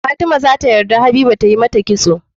Fatima zata yadda habiba tamata kitso